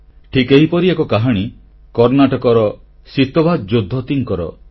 ଠିକ୍ ଏହିପରି ଏକ କାହାଣୀ କର୍ଣ୍ଣାଟକର ସିତୱା ଜୋଦ୍ଦତୀଙ୍କର